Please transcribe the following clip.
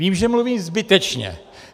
Vím, že mluvím zbytečně.